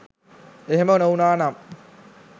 එහෙම නොවුනා නම්